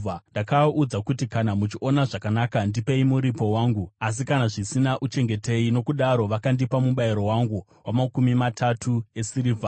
Ndakaaudza kuti, “Kana muchiona zvakanaka, ndipei muripo wangu, asi kana zvisina, uchengetei.” Nokudaro vakandipa mubayiro wangu wamakumi matatu esirivha.